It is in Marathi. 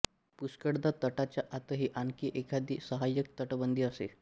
पुष्कळदा तटाच्या आतही आणखी एखादी साहाय्यक तटबंदी असे